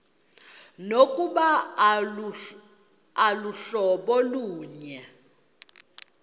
nokuba aluhlobo lunye